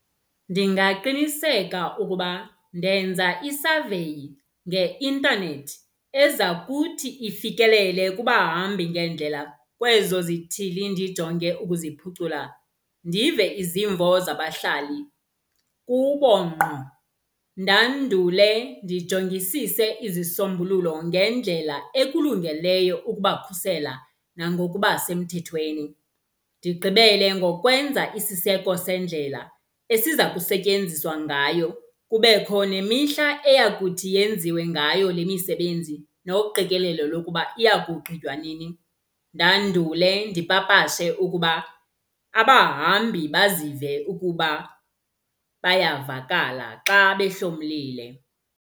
Ndingaqiniseka ukuba ndenza isaveyi ngeintanethi eza kuthi ifikelele kubahambi ngeendlela kwezo zithili ndijonge ukuziphucula. Ndive izimvo zabahlali kubo ngqo, ndandule ndijongisise izisombululo ngendlela ekulungeleyo ukubakhusela nangokuba semthethweni. Ndigqibele ngokwenza isiseko sendlela esiza kusetyenziswa ngayo. Kubekho nemihla eyakuthi yenziwe ngayo le misebenzi noqikelelo lokuba iya kugqitywa nini. Ndandule ndipapashe ukuba abahambi bazive ukuba bayavakala xa behlomlile.